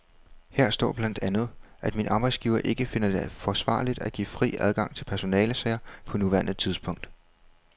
Her står blandt andet, at min arbejdsgiver ikke finder det forsvarligt at give fri adgang til personalesager på nuværende tidspunkt.